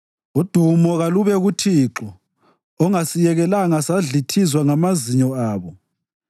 Udumo kalube kuThixo ongasiyekelanga sadlithizwa ngamazinyo abo.